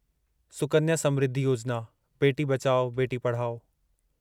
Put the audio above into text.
सुकन्या समृद्धि योजिना बेटी बचाओ बेटी पढ़ाओ